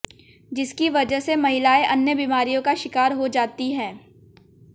जिसकी वजह से महिलाएं अन्य बीमारियों का शिकार हो जाती है